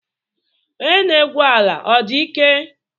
Onye na-egwu ala ọ dị ike?